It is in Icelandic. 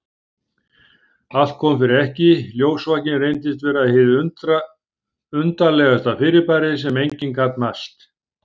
Allt kom fyrir ekki, ljósvakinn reyndist vera hið undarlegasta fyrirbæri sem enginn gat mælt.